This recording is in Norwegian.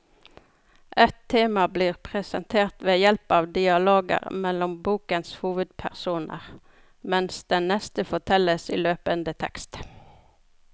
Ett tema blir presentert ved hjelp av dialoger mellom bokens hovedpersoner, mens det neste fortelles i løpende tekst.